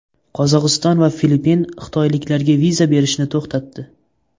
Qozog‘iston va Filippin xitoyliklarga viza berishni to‘xtatdi.